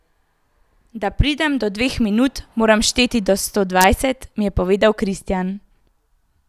Da pridem do dveh minut, moram šteti do sto dvajset, mi je povedal Kristjan.